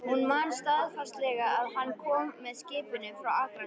Hún man staðfastlega að hann kom með skipinu frá Akranesi.